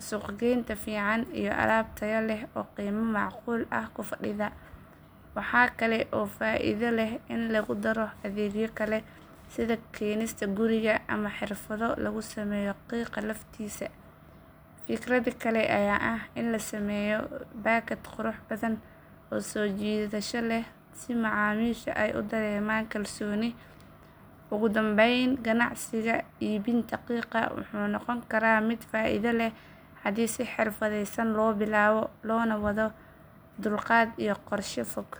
suuqgeyn fiican iyo alaab tayo leh oo qiimo macquul ah ku fadhida. Waxaa kale oo faa’iido leh in lagu daro adeegyo kale sida keenista guriga ama xirfado lagu sameeyo qiiqa laftiisa. Fikrad kale ayaa ah in la sameeyo baakad qurux badan oo soo jiidasho leh si macaamiisha ay u dareemaan kalsooni. Ugu dambayn, ganacsiga iibinta qiiqa wuxuu noqon karaa mid faa’iido leh haddii si xirfadeysan loo bilaabo loona wado dulqaad iyo qorshe fog.